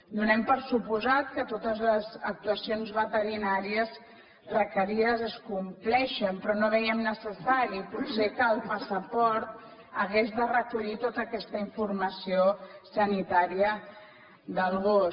donem per descomptat que totes les actuacions veterinàries requerides es compleixen però no vèiem necessari potser que el passaport hagués de recollir tota aquesta informació sanitària del gos